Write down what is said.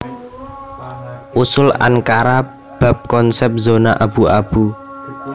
Usul Ankara bab konsèp zona abu abu